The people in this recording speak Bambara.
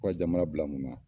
Ka jamana bila mun na.